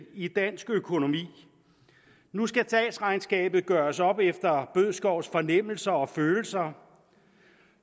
i dansk økonomi nu skal statsregnskabet gøres op efter herre bødskovs fornemmelser og følelser